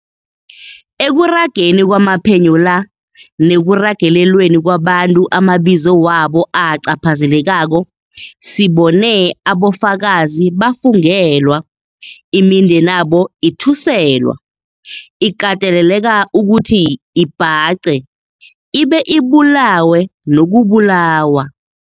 Ekurageni kwamaphenyo la, nekuragelelweni kwabantu amabizo wabo acaphazelekako, sibone abofakazi bafungelwa, imindeni yabo ithuselwa, ikateleleka ukuthi ibhace, ibe ibulawe nokubulawa.